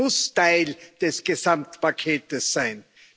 Es muss Teil des Gesamtpakets sein.